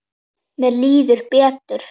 Mér líður betur.